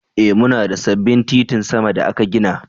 Ee muna da sabbin titin sama da aka gina.